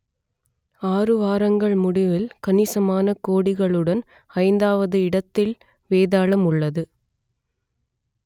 ஆறு வாரங்கள் முடிவில் கணிசமான கோடிகளுடன் ஐந்தாவது இடத்தில் வேதாளம் உள்ளது